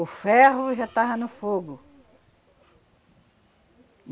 O ferro já estava no fogo.